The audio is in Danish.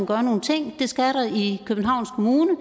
gøre nogle ting det skal der i københavns kommune